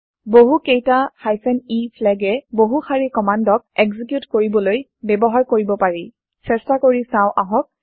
বহু কেইটা e flag এ বহু শাৰি কম্মান্দক এক্সিকিউত কৰিবলৈ বয়ৱহাৰ কৰিব পাৰি চেষ্টা কৰি চাও আহক